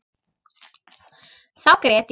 Þá grét ég.